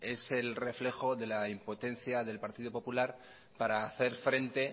es el reflejo de la impotencia del partido popular para hacer frente